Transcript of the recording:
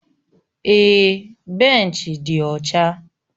Èè, benchi dị ọcha